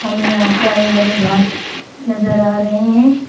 हमें यहां पर हरे हरे घास नजर आ रहे हैं।